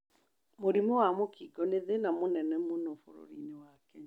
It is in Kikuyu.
Mũrimũ wa mũkingo nĩ thĩna mũnene mũno bũrũri-inĩ wa Kenya.